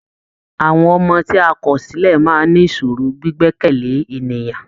Àwọn ọmọ ti a kọ̀ sílẹ̀ máa ní ìṣòro gbígbẹ̀kẹ̀ lé ènìyàn.